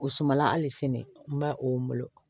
O sumala hali sini n b'a o bolo